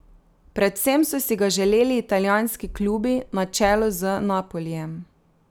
Predvsem so si ga želeli italijanski klubi na čelu z Napolijem.